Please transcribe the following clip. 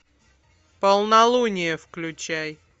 полнолуние включай